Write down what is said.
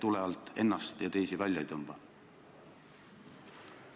Miks te ennast ja teisi tule alt välja ei tõmba?